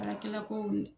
Baarakɛla kow